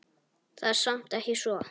Það er samt ekki svo.